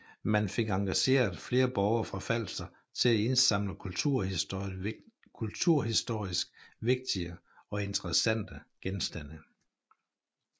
Man fik engageret flere borgere fra Falster til at indsamle kulturhistorisk vigtige og interessante genstande